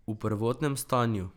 V prvotnem stanju.